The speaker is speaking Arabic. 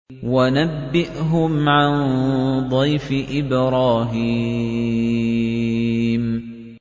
وَنَبِّئْهُمْ عَن ضَيْفِ إِبْرَاهِيمَ